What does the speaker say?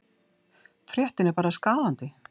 Fréttin er bara skaðandi.